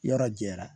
Yɔrɔ jɛra